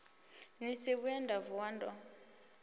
si vhuye nda vuwa ndo